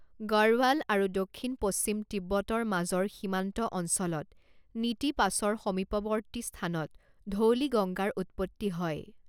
গড়ৱাল আৰু দক্ষিণ পশ্চিম তিব্বতৰ মাজৰ সীমান্ত অঞ্চলত নিতি পাছৰ সমীপৱৰ্তী স্থানত ধৌলিগংগাৰ উৎপত্তি হয়।